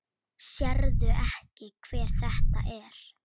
Sérðu ekki hver þetta er?